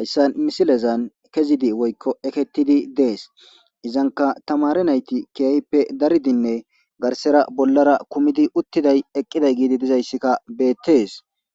haysa misilezan kezidi woyko eketidi de'es izanka tamaare nayti keehipe daridine garsara bollara uthiday eqidaysika beetes.